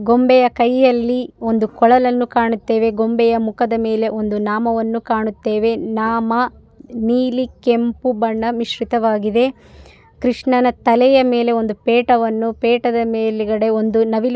ಗೊಂಬೆಯ ಕೈಯಲ್ಲಿ ಒಂದು ಕೊಳಲನ್ನು ಕಾಣುತ್ತೇವೆ ಗೊಂಬೆಯ ಮುಖದ ಮೇಲೆ ಒಂದು ನಾಮವನ್ನು ಕಾಣುತ್ತೇವೆ ನಾಮ ನೀಲಿ ಕೆಂಪು ಬಣ್ಣ ಮಿಶ್ರಿತವಾಗಿದೆ ಕೃಷ್ಣನ ತಲೆಯ ಮೇಲೆ ಒಂದು ಪೇಟವನ್ನು ಪೇಟದ ಮೇಲುಗಡೆ ಒಂದು ನವಿಲು --